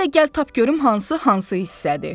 İndi də gəl tap görüm hansı hansı hissədir.